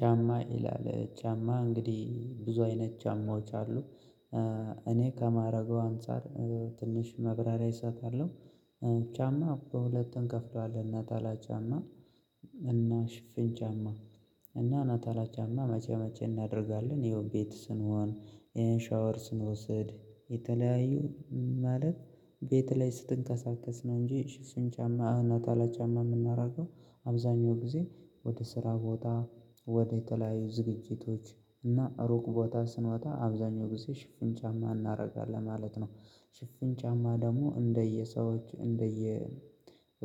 ጫማ ይላል ጫማ እንግዲህ ብዙ አይነት ጫማዎች አሉ። እኔ ከማረገው አንፃር ትንሽ መብራሪያ እሰጣለሁ። ጫማ በሁለት እንከፍለዋለን ነጠላ ጫማ እና ሽፍን ጫማ። እና ነጠላ ጫማ መቼ መቼ እናደርጋለን ይኸውም ቤት ስንሆን ወይም ሻወር ስንወስድ የተለያዩ ማለት ቤት ላይ ስንንቀሳቀስ ነው እንጂ ሽፍን ጫማ ነጠላ ጫማ የምናደርገው አብዛኛው ጊዜ ወደ ስራ ቦታ ወደ ተለያዩ ዝግጅቶች እና ሩቅ ቦታ ስንወጣ አብዛኛው ጊዜ ሽፍን ጫማ እናደርጋለን ማለት ነው። ሽፍን ጫማ ደግሞ እንደየሰዎች እንደየ